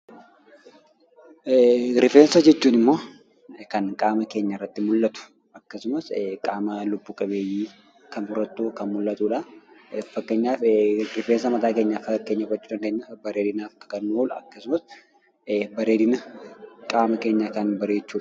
Rifeensa jechuun immoo kan qaama keenya irratti mul'atu akkasumaas immo qaama lubbuu qabeenyii irratti kan mul'atudha. Faakkenyaaf reffensaa mata keenyaa faakkeenya gochuu dandeenya. Bareedinaaf yookiin qaama keenyaa kan barrechuudha.